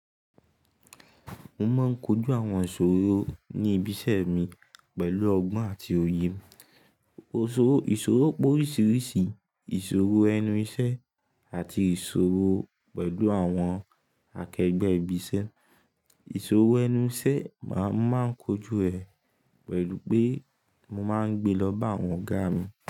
Mo máa ń kojú àwọn ìṣòro ní ibi iṣẹ́ mi pẹ̀lú ọgbọ́n àti òye. Òṣórò, ìṣòro pé oríṣìíríṣìí, ìṣòro ẹnu iṣẹ́ àti ìṣòro pẹ̀lú àwọn akẹgbẹ́ ibi iṣẹ́. Ìṣòro ẹnu iṣẹ́, màá, mo máa ń kojú rẹ̀ pẹ̀lú pé mo máa ń gbe lọ́ bá àwọn ọ̀gá mi.